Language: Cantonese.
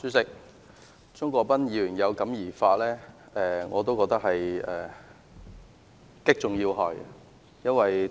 主席，鍾國斌議員有感而發，我也認為他擊中要害。